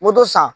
Moto san